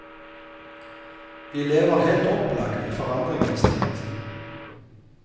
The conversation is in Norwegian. Vi lever helt opplagt i forandringens tid.